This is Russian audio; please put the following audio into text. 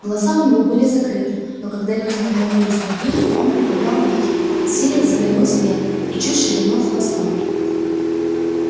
глаза у него были закрыты но когда люди наклонились над ним он приподнял веки силясь взглянуть вверх и чуть шевельнул хвостом